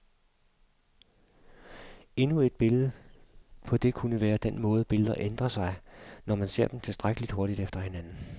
Endnu et billede på det kunne være den måde, billeder ændrer sig, når man ser dem tilstrækkeligt hurtigt efter hinanden.